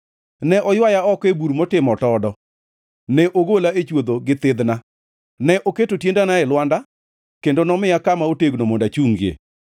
Ne oywaya oko e bur motimo otodo, ne ogola e chwodho gi thidhna. Ne oketo tiendena e lwanda kendo nomiya kama otegno mondo achungie.